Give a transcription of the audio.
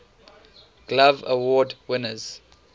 glove award winners